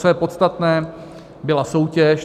Co je podstatné, byla soutěž.